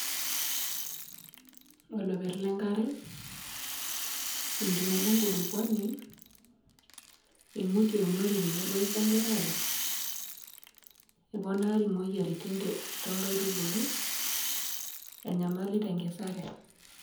Oloperr le nkare, enkinyiala e nkulukuani imutie kuna ore tenebau esaa empirare eponari imoyiaritin toonkaitubulu enyamali tenkisare.